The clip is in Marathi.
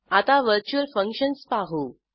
आता व्हर्च्युअल फंक्शन्स पाहू